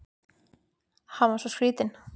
Hann var svo skrýtinn.